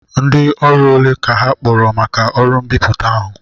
Ndị ọrụ ole ka ha kpọkọrọ maka ọrụ mbipụta ahụ?